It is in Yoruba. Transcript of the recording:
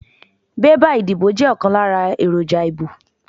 Bébà ìbò jẹ́ ọ̀kan lára èròjà ìbò.